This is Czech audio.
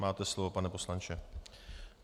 Máte slovo, pane poslanče.